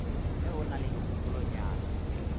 ge o na le dikgopolonyana